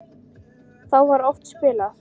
Þá var oft spilað.